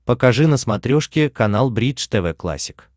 покажи на смотрешке канал бридж тв классик